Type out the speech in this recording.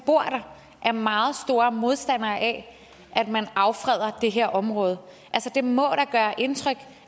bor der er meget store modstandere af at man affreder det her område det må da gøre indtryk